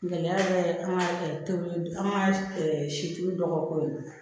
Gɛlɛya bɛ an ka tobiliw an ka situlu dɔ ka ko ye